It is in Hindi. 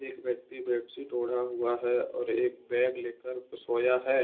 एक व्यक्ति बेड शीट ओढ़ा हुआ हैऔर एक बैग लेकर सोया है।